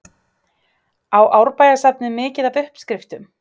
Á Árbæjarsafnið mikið af uppskriftum?